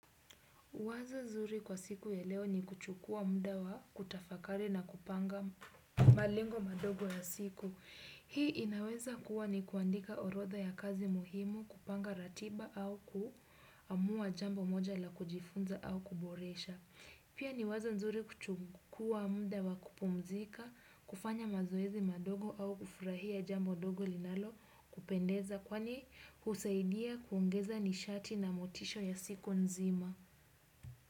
Wazo nzuri kwa siku ya leo ni kuchukua mda wa kutafakari na kupanga malengo madogo ya siku. Hii inaweza kuwa ni kuandika orotha ya kazi muhimu kupanga ratiba au kuamua jambo moja la kujifunza au kuboresha. Pia ni wazo nzuri kuchukua mda wa kupumzika kufanya mazoezi madogo au kufurahia jambo ndogo linalo kupendeza kwani husaidia kuongeza nishati na motisho ya siku nzima.